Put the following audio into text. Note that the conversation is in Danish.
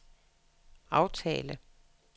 aftale